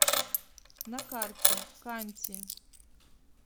на карте канти